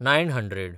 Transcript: nine hundred